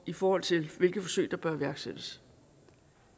i forhold til hvilke forsøg der bør iværksættes